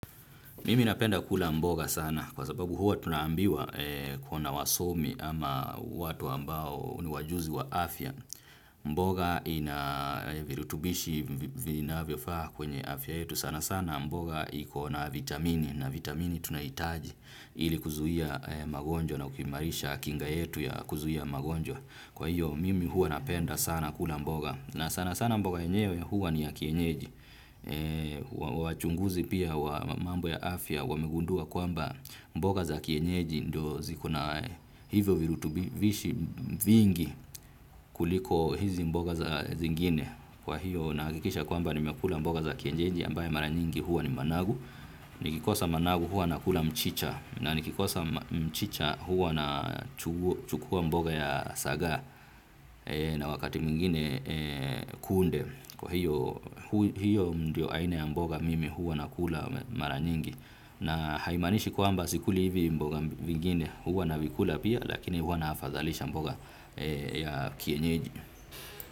Mimi napenda kula mboga sana kwa sababu huwa tunaambiwa kuna wasomi ama watu ambao ni wajuzi wa afya. Mboga ina virutubishi vinavyofaa kwenye afya yetu, sana sana mboga iko na vitamini. Na vitamini tunahitaji ili kuzuia magonjwa na ukimarisha kinga yetu ya kuzuia magonjwa. Kwahiyo mimi huwa napenda sana kula mboga. Na sana sana mboga yenyewe huwa ni ya kienyeji, wachunguzi pia wa mambo ya afya wamegundua kwamba mboga za kienyeji ndio ziko na hivyo virutubishi vingi kuliko hizi mboga za zingine. Kwa hiyo nahakikisha kwamba nimekula mboga za kienyeji ambayo mara nyingi huwa ni mang'avu. Nikikosa mang'avu huwa nakula mchicha na nikikosa mchicha huwa nachukua mboga ya sagaa na wakati mwingine kunde. Kwahiyo hiyo ndio aina ya mboga mimi huwa nakula mara nyingi. Na haimaanishi kwamba sikuli hivi mboga vingine huwa navikula pia lakini huwa naafadhalisha mboga ya kienyeji.